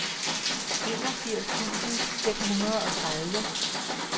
enogfirs tusind fem hundrede og tredive